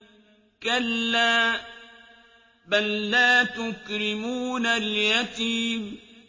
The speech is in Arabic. كَلَّا ۖ بَل لَّا تُكْرِمُونَ الْيَتِيمَ